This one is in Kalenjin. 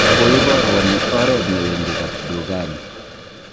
koiboruon oret ne wendi kapdukani